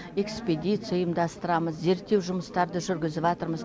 экспедиция ұйымдастырамыз зерттеу жұмыстарды жүргізіп жатырмыз